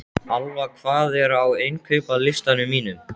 Alfa, hvað er á innkaupalistanum mínum?